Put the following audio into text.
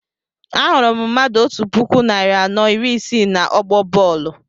Ahụrụ m mmadụ otú puku narị anọ iri isii na ọgbọ bọọlu